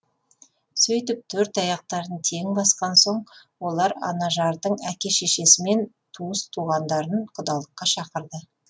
сөйтіп төрт аяқтарын тең басқан соң олар анажардың әке шешесі мен туыс туғандарын құдалыққа шақырды